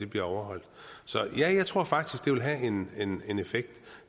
bliver overholdt så ja jeg tror faktisk det vil have en en effekt